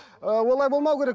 ыыы олай болмау керек